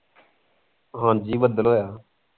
ਹਾਂਜ਼ੀ ਬਦਲ ਹੋਇਆ